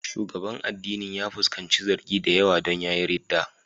Shugaban addinin ya fuskanci zargi da yawa don ya yi ridda.